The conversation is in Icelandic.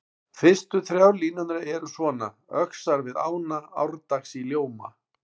Fyrstu þrjár línurnar eru svona: Öxar við ána árdags í ljóma